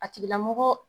A tigilamɔgɔ